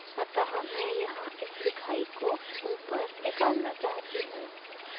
अतः मैं यहाँ इस लिखाई को ऊपर निकलना चाहती हूँ